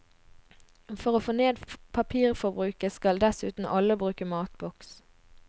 For å få ned papirforbruket, skal dessuten alle bruke matboks.